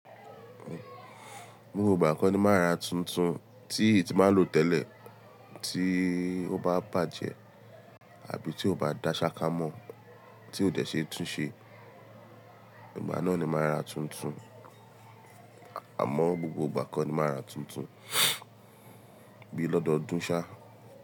Gbogbo ìgbà kọ́ ni máa ra tuntun tí ì tí máa lò tẹ́lẹ̀ tí ó bá bàjẹ́ àbí tí ó bá dá ṣákámọ́ tí ò dé tún ṣe. Ìgbà náà ni máa ra tuntun. Àmọ́ gbogbo ìgbà kọ́ ni máa rà tuntun bí i lọ́dọ̀dún ṣà.